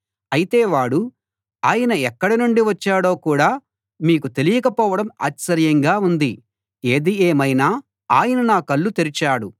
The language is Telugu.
అయితే వాడు ఆయన ఎక్కడి నుండి వచ్చాడో కూడా మీకు తెలియక పోవడం ఆశ్చర్యంగా ఉంది ఏది ఏమైనా ఆయన నా కళ్ళు తెరిచాడు